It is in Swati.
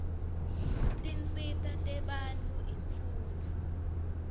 tinsita tebantfu imfundvo